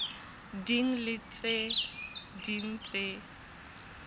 ding le tse ding tse